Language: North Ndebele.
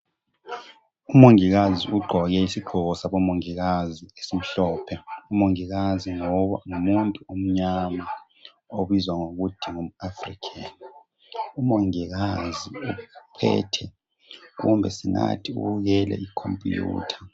Umongikazi ugqoke isigqoko sabo mongikazi esimhlophe umongikazi ngumuntu omnyama obizwa ngokuthi ngumAfrikheni, umongikazi uphethe kumbe singathi ubukele ikhompuyutha.